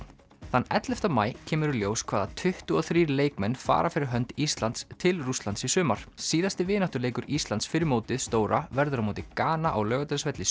þann ellefta maí kemur í ljós hvaða tuttugu og þrír leikmenn fara fyrir hönd Íslands til Rússlands í sumar síðasti vináttuleikur Íslands fyrir mótið stóra verður á móti Gana á Laugardalsvelli